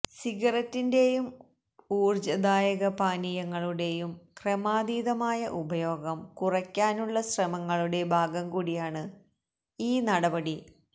സിഗരറ്റിന്റേയും ഊർജദായക പാനീയങ്ങളുടേയും ക്രമാതീതമായ ഉപയോഗം കുറക്കാനുള്ള ശ്രമങ്ങളുടെ ഭാഗം കൂടിയാണ് ഈ നടപടി